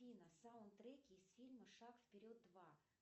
афина саундтреки из фильма шаг вперед два